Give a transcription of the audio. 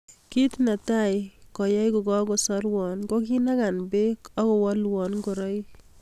Kit netai koyai kokakosarwo kokinaka bek akowalwo ngoraik.